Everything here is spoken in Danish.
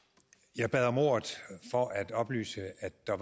jeg bad om ordet for at oplyse at der